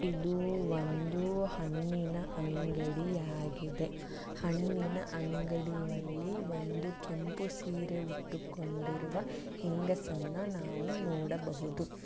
ಇದು ಒಂದು ಹಣ್ಣಿನ ಅಂಗಡಿಯಾಗಿದೆ ಹಣ್ಣಿನ ಅಂಗಡಿಯಲ್ಲಿ ಒಂದು ಕೆಂಪು ಸೀರೆ ಹುಟ್ಟಿಕೊಂಡಿರುವಂತಹ ಹೆಂಗಸನ್ನು ನಾವು ನೋಡಬಹುದು.